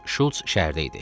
Şults şəhərdə idi.